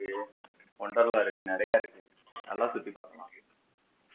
wonderla இருக்கு நிறைய இருக்கு நல்லா சுத்தி பாக்கலாம்